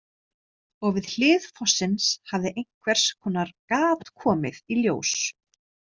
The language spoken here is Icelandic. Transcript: Og við hlið fossins hafði einhvers konar gat komið í ljós.